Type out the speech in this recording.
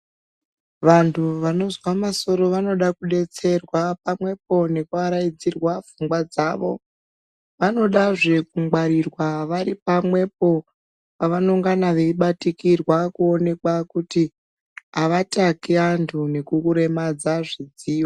Vantu vanozwa masoro vanoda kudetserwa pamwepo nekuaraidzirwa pfungwa dzavo. Vanodazve kungwarirwa vari pamwepo pavanongana veibatikirwa kuonekwa kuti avataki vantu nekuremadza zvidziyo.